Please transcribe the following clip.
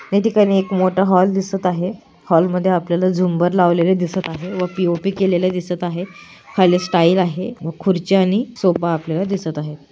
या ठिकाणी एक मोठ हॉल दिसत आहे हॉल मध्ये आपल्याला झुंबर लावलेल दिसत आहे व पी_ओ_पी केलेलं दिसत आहे खाली स्टाइल आहे व कुर्च्या आणि सोफा आपल्याला दिसत आहे.